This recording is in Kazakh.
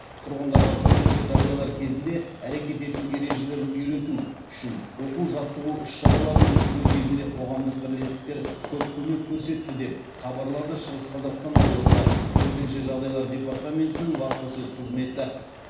тұрғындарға төтенше жағдайлар кезінде әрекет ету ережелерін үйрету үшін оқу жаттығу іс шараларын өткізу кезінде қоғамдық бірлестіктер көп көмек көрсетті деп хабарлады шығыс қазақстан облысы төтенше жағдайлар департаментінің баспасөз қызметі